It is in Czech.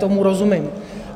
Tomu rozumím.